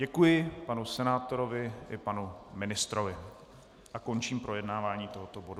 Děkuji panu senátorovi i panu ministrovi a končím projednávání tohoto bodu.